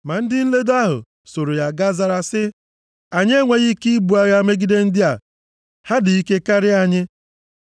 Ma ndị nledo ahụ soro ya gaa zara sị, “Anyị enweghị ike ibu agha megide ndị a; ha dị ike karịa anyị.”